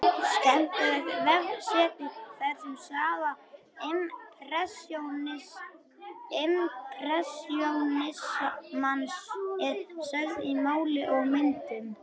Skemmtilegt vefsetur þar sem saga impressjónismans er sögð í máli og myndum.